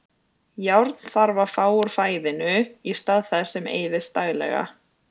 Járn þarf að fá úr fæðinu í stað þess sem eyðist daglega.